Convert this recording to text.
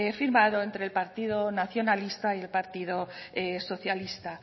firmado entre el partido nacionalista y el partido socialista